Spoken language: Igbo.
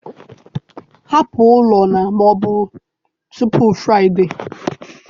Hapụ ụlọ na ma ọ bụ tupu Friday!